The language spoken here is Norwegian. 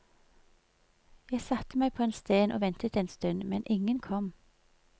Jeg satte meg på en sten og ventet en stund, men ingen kom.